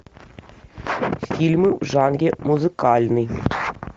фильмы в жанре музыкальный